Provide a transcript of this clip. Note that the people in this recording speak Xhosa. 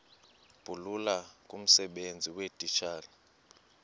bulula kumsebenzi weetitshala